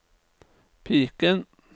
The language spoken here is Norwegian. piken